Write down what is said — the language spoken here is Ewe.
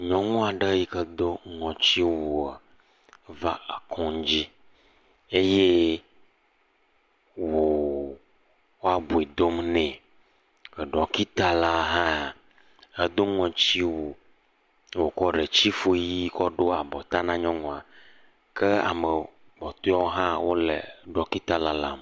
Nyɔnu aɖe yi ke do ŋɔtsiwua va kɔŋdzi eye wo wo abiu dom nɛ. Ɖɔkita la hã edo ŋɔtsiwu eye wokɔ ɖetsifu ʋi kɔ ɖo abɔta na nyɔnua kea me kpɔtɔewo hã wo ɖɔkita lalam.